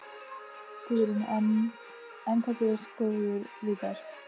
Guðrún: Enn hvað þú ert góður við þær?